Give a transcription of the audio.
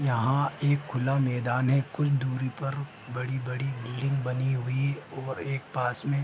यहाँ एक खुला मैदान है कुछ दुरी पर बड़ी-बड़ी बिल्डिंग बनी हुई और एक पास में --